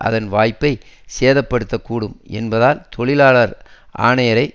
அதன் வாய்ப்பை சேதப்படுத்தக்கூடும் என்பதால் தொழிலாளர் ஆணையரை